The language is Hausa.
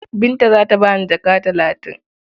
Binta za ta ba ni jaka talatin.